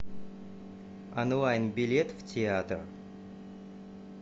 онлайн билет в театр